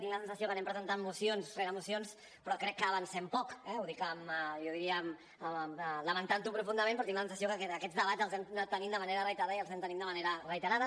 tinc la sensació que anem presentant mocions rere mocions però crec que avancem poc eh ho dic jo diria lamentant ho profundament però tinc la sensació que aquests debats els hem anat tenint de manera reiterada i els anem tenint de manera reiterada